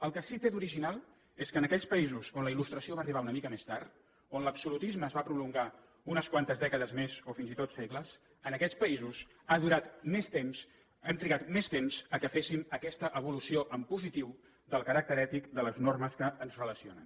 el que sí té d’original és que en aquells països on la il·lustració va arribar una mica més tard on l’absolutisme es va prolongar unes quantes dècades més o fins i tot segles en aquests països ha durat més temps hem trigat més temps que féssim aquesta evolució en positiu del caràcter ètic de les normes que ens relacionen